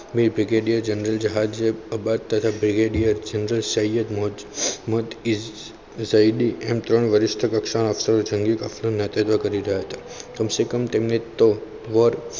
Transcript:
Brigadier general જહાજ તથા Brigadier general Syed મોજુદ મત એમ ત્રણ વરિષ્ઠ કક્ષાના અક્ષરો નેતૃત્વ કરી રહ્યા હતા કમસેકમ તેમને તો